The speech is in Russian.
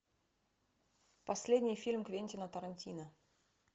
последний фильм квентина тарантино